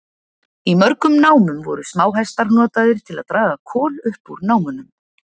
Í mörgum námum voru smáhestar notaðir til að draga kol upp úr námunum.